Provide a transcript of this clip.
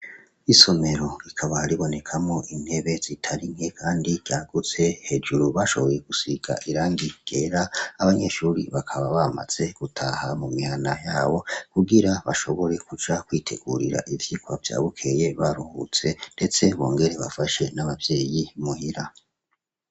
Isomero rikaba ribonekamwo intebe zitari nke kandi ryagutse, hejuru bashoboye gusiga irangi ryera, abanyeshure bakaba bamaze gutaha mu mihana yabo kugira bashobore kuja kwitegurira ivyirwa vya bukeye baruhutse, ndetse bongere bafashe n'abavyeyi muhira.